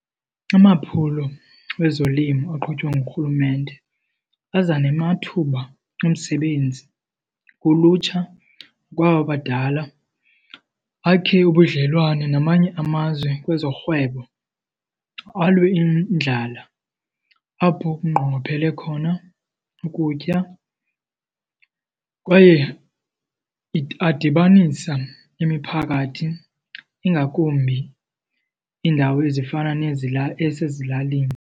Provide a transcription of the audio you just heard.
Amaphulo wezolimo aqhutywa ngurhulumente aza namathuba omsebenzi kulutsha kwaba badala, bakhe ubudlelwane namanye amazwe kwezorhwebo, alwe indlala apho kunqongophele khona ukutya kwaye adibanisa imiphakathi ingakumbi iindawo ezifana esezilalini.